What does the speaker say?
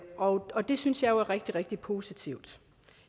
og og det synes jeg er rigtig rigtig positivt